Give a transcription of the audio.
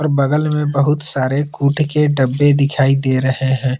और बगल में बहुत सारे कूट के डब्बे दिखाई दे रहे है।